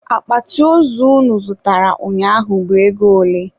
Akpati ozu unu zụtara ụnyaahụ bụ ego ole?